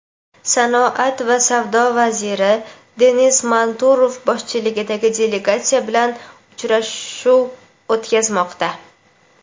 sanoat va savdo vaziri Denis Manturov boshchiligidagi delegatsiya bilan uchrashuv o‘tkazmoqda.